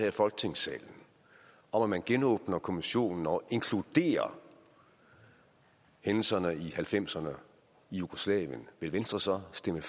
i folketingssalen om at man genåbner kommissionen og inkluderer hændelserne i nitten halvfemserne i jugoslavien vil venstre så stemme